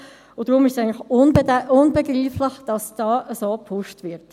Deshalb ist es eigentlich unbegreiflich, dass hier dermassen gepusht wird.